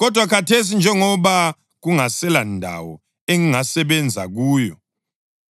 Kodwa khathesi njengoba kungaselandawo engingasebenza kuyo